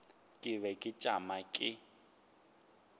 ke be ke tšama ke